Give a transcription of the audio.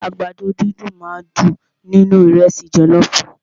Àgbàdo dídùn máà ń dùn nínú ìrẹ́sì jọlọọfu.